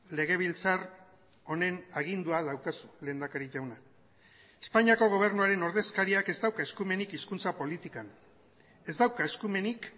legebiltzar honen agindua daukazu lehendakari jauna espainiako gobernuaren ordezkariak ez dauka eskumenik hizkuntza politikan ez dauka eskumenik